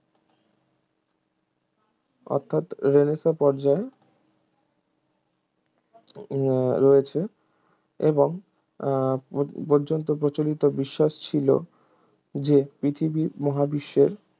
অর্থাৎ রেনেসাঁ পর্যায় উহ রয়েছে এবং উহ প~ পর্যন্ত প্রচলিত বিশ্বাস ছিল যে পৃথিবী মহাবিশ্বের